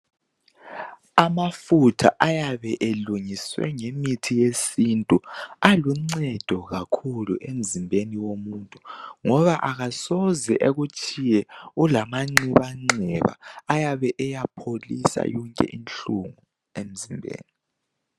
Amafutha ayabe elungiswe ngemithi yesintu aluncedo kakhulu emzimbeni womuntu ngoba akasoze ekutshiye ulamanxebanxeba Ayabe eyapholisa yonke inhlungu emzimbeni